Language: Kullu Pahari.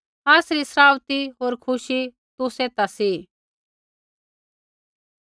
आसरी सराउथी होर खुशी तुसै ता सी